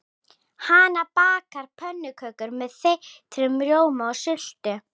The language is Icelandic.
Hanna bakar pönnukökur með þeyttum rjóma og sultu.